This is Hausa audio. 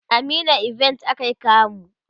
a meena event akayi kamu